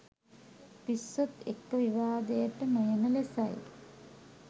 පිස්සොත් එක්ක විවාදයට නොයන ලෙසයි.